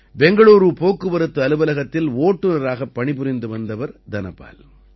பெங்களூரு போக்குவரத்து அலுவலகத்தில் ஓட்டுநராகப் பணிபுரிந்து வந்தவர் தனபால்